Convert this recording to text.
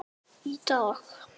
Þar varð þessi hugmynd til.